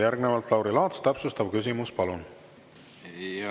Järgnevalt Lauri Laats, täpsustav küsimus, palun!